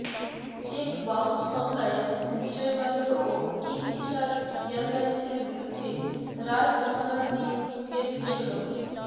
check bounce মামলায় বিজয় মাল্য ও Kingfisher এয়ারলাইন্সের বিরুদ্ধে রায় ঘোষণার দিন ফের পিছোল